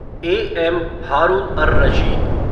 A. M. Haroon ur Rashid